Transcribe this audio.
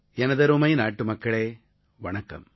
எனதருமை நாட்டுமக்களே வணக்கம்